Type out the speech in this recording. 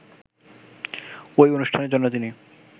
ঐ অনুষ্ঠানের জন্য তিনি